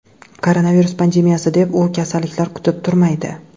Koronavirus pandemiyasi deb, u kasalliklar kutib turmaydi.